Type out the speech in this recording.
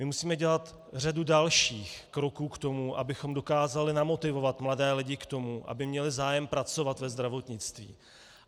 My musíme dělat řadu dalších kroků k tomu, abychom dokázali namotivovat mladé lidi k tomu, aby měli zájem pracovat ve zdravotnictví.